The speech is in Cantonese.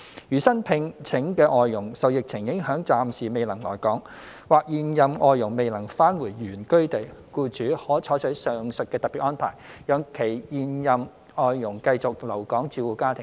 如新聘請的外傭受疫情影響暫時未能來港，或現任外傭未能返回原居地，僱主可採取上述特別安排，讓現任外傭繼續留港照顧家庭。